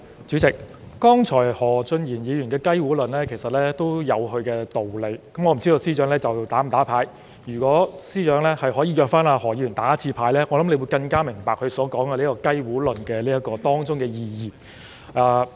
主席，何俊賢議員剛才的"雞糊論"其實有其道理，我不知司長會否"打牌"，如果司長邀請何議員"打牌"，我想他會更明白何議員所說的"雞糊論"當中的意義。